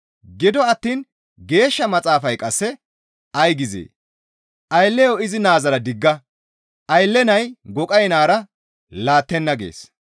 Gido attiin Geeshsha Maxaafay qasse ay gizee? «Aylleyo izi naazara digga; aylley nay goqay naara laattenna» gees.